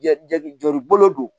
Jate joli bolo don